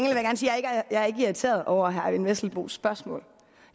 jeg ikke er irriteret over herre eyvind vesselbos spørgsmål